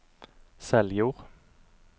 Seljord